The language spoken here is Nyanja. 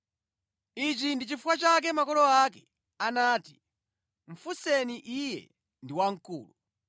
Ichi ndi chifukwa chake makolo ake anati, “Mufunseni iye ndi wamkulu.”